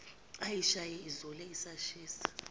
ayishaye izule asishiye